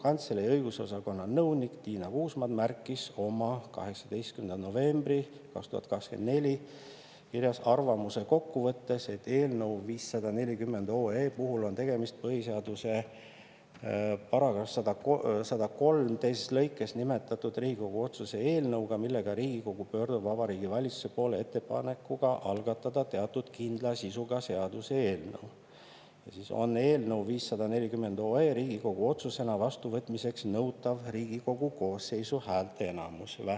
Riigikogu Kantselei õigusosakonna nõunik Tiina Kuusmann märkis oma 18. novembri 2024. aasta kirjas arvamuse kokkuvõttes: " eelnõu 540 OE puhul on tegemist PS § 103 teises lõikes nimetatud Riigikogu otsuse eelnõuga, millega Riigikogu pöördub Vabariigi Valitsuse poole ettepanekuga algatada teatud kindla sisuga seaduse eelnõu, on eelnõu 540 OE Riigikogu otsusena vastuvõtmiseks nõutav Riigikogu koosseisu häälteenamus .